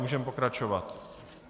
Můžeme pokračovat.